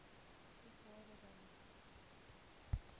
u gade bymekaar